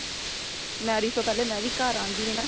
marriage ਤੋ ਪਹਿਲੇ ਮੈਂ ਵੀ ਘਰ ਆਂਦੀ ਨੇ ਨਾ